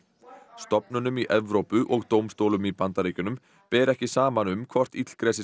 stofnunum í Evrópu og dómstólum í Bandaríkjunum ber ekki saman um hvort